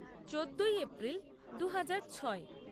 চোদ্দই এপ্রিল দুহাজার ছয়